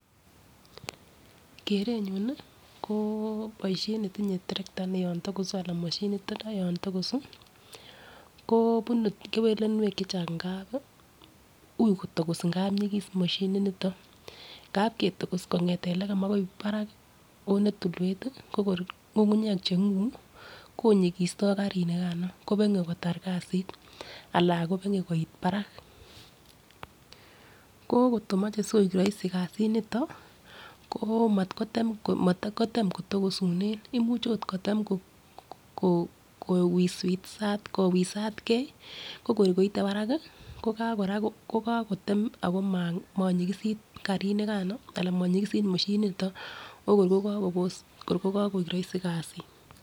Kerenyun nii ko boishet netinye terekta yon tokosu ana moshinit yon tokosu ko bunu kewelunwek chachang ngapi ui kotokos ngap nyikis moshinit niton, ngap ketokos kongeten ngwony akoi barak onetilwet tii ko kor ngungunyek chenguu konyikisto karit nikano kobenge kotar kasit ala kobenge koit barak, ko koto moche sikoik roisi kasit niton ko matkotem matkotem kotokosunen imuch ot kotem ko kowiswis kowisatgee ko kor koite barak ko kakotem ako ma monyikosit karinikano ana monyikosit moshinit niton okor ko kokobos kor ko kokoik roisi kasit.